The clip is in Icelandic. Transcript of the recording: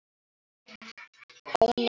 Ó nei.